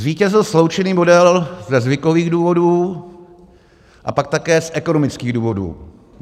Zvítězil sloučený model ze zvykových důvodů a pak také z ekonomických důvodů.